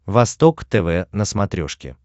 восток тв на смотрешке